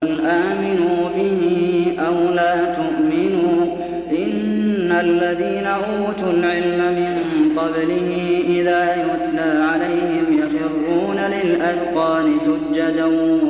قُلْ آمِنُوا بِهِ أَوْ لَا تُؤْمِنُوا ۚ إِنَّ الَّذِينَ أُوتُوا الْعِلْمَ مِن قَبْلِهِ إِذَا يُتْلَىٰ عَلَيْهِمْ يَخِرُّونَ لِلْأَذْقَانِ سُجَّدًا